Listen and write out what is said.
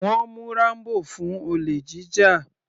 Wọ́n mú Rambo fún olè jíjà.